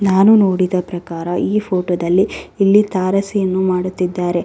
ನಾನು ನೋಡಿದ ಪ್ರಕಾರ ಈ ಫೋಟೋದಲ್ಲಿ ಇಲ್ಲಿ ತಾರಸಿಯನ್ನು ಮಾಡುತ್ತಿದ್ದಾರೆ.